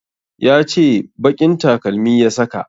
Ya ce baƙin takalmi ya saka